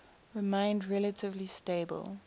remained relatively stable